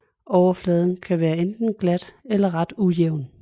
Overfladen kan være enten glat eller ret ujævn